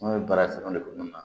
An ye baara kɛ o de kun na